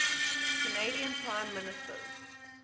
canadian prime ministers